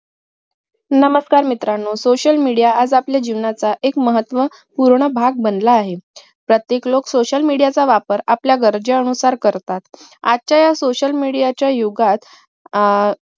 नमस्कार मित्रांनू social media आज आपल्या जीवनाचा एक महत्वाचं पूर्ण भाग बनला आहे प्रत्येक लोक social media चा वापर आपल्या गरजेनुसार करतात आजच्या ह्या social media च्या युगात आह